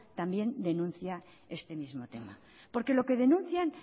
también denuncia este mismo tema porque lo que denuncian